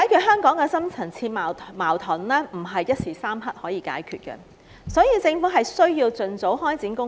香港的深層次矛盾，不是一時三刻可以解決，所以政府必須盡早開展工作。